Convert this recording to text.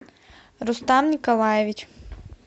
рустам николаевич